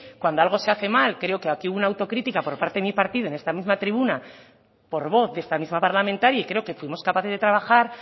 cuando algo se hace mal creo que aquí hubo una autocrítica por parte de mi partido en esta misma tribuna por voz de esta misma parlamentaria y creo que fuimos capaces de trabajar